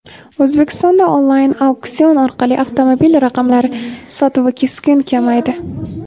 O‘zbekistonda onlayn auksion orqali avtomobil raqamlari sotuvi keskin kamaydi.